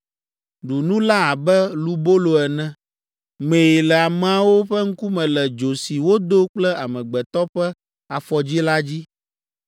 Ɖu nu la abe lubolo ene. Mee le ameawo ƒe ŋkume le dzo si wodo kple amegbetɔ ƒe afɔdzi la dzi.”